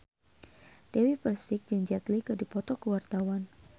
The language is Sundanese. Dewi Persik jeung Jet Li keur dipoto ku wartawan